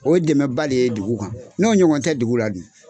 O ye dɛmɛ ba le ye dugu kan n'o ɲɔgɔn tɛ dugu la dun.